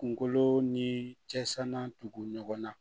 Kunkolo ni cɛsirantugu ɲɔgɔnna